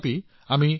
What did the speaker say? ঔষধ আৰু কঠোৰতা